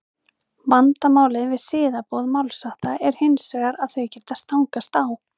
vandamálið við siðaboð málshátta er hins vegar að þau geta stangast á